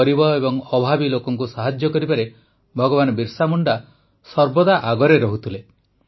ଗରିବ ଏବଂ ଅଭାବୀ ଲୋକଙ୍କୁ ସାହାଯ୍ୟ କରିବାରେ ଭଗବାନ ବିର୍ସା ମୁଣ୍ଡା ସର୍ବଦା ଆଗରେ ରହୁଥିଲେ